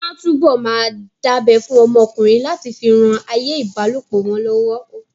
Wọ́n á túbọ̀ máa dábẹ́ fún ọmọ ọkùnrin láti fi ran ayé ìbálòpọ̀ wọn lọ́wọ́